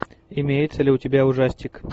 имеется ли у тебя ужастик